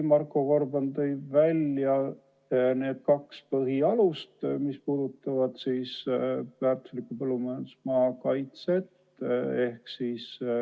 Marko Gorban tõi välja need kaks põhialust, millest lähtub väärtusliku põllumajandusmaa kaitse.